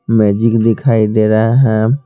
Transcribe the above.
Magic दिखाई दे रहा है।